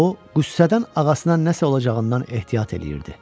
O qüssədən ağasına nəsə olacağından ehtiyat eləyirdi.